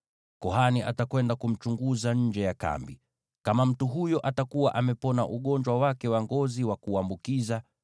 Kuhani atakwenda kumchunguza nje ya kambi. Kama mtu huyo atakuwa amepona ugonjwa wake wa ngozi wa kuambukiza,